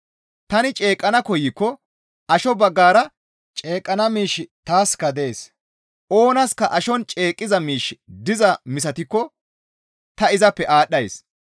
Tani ceeqqana koykko asho baggara ceeqqana miishshi taaska dees; oonaska ashon ceeqqiza miishshi dizaa misatikko ta izappe aadhdhays.